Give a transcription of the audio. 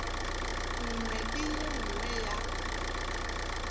nngwe le ye nngwe ya